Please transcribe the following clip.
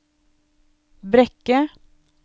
Brekke